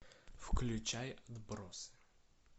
включай отбросы